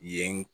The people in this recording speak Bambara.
Yen